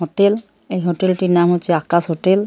Hotel এই hotel টির নাম হচ্ছে আকাশ হোটেল ।